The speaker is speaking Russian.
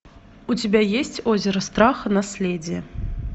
у тебя есть озеро страха наследие